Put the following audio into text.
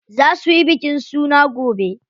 Za suyi bikin suna gobe.